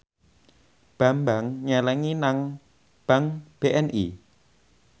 Bambang nyelengi nang bank BNI